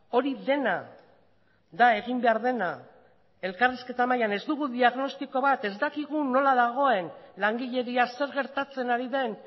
hori dena da egin behar dena elkarrizketa mailan ez dugu diagnostiko bat ez dakigu nola dagoen langileria zer gertatzen ari den